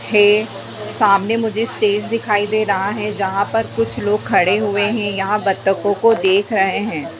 थे सामने मुझे स्टेज दिखाई दे रहा है जहाँ पर कुछ लोग खड़े हुए हैं यहाँ बतकों को देख रहे हैं।